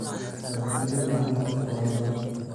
Nabadgelyo la'aanta dhulka waa dhibaato.